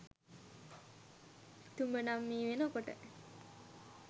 තුඹ නං මේ වෙනකොට